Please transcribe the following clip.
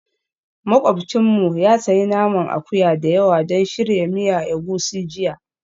Makwabcinmu ya sayi naman akuya da yawa don shirya miya egusi jiya